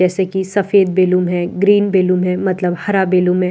जैसे कि सफेद बैलून है ग्रीन बैलून है मतलब हरा बैलून है और --